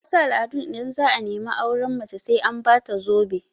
A wasu al'adun, idan za'a nemi auren mace sai an ba ta zobe